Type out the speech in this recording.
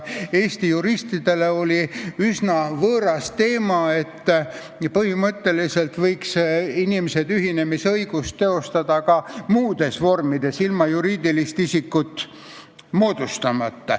Eesti juristidele oli üsna võõras teema see, et põhimõtteliselt võiks inimesed ühinemisõigust teostada ka muudes vormides, ilma juriidilist isikut moodustamata.